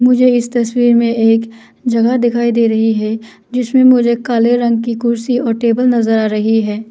मुझे इस तस्वीर में एक जगह दिखाई दे रही है जिसमें मुझे काले रंग की कुर्सी और टेबल नजर आ रही है।